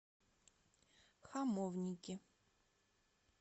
хамовники